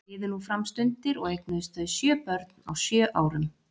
Liðu nú fram stundir og eignuðust þau sjö börn, á sjö árum.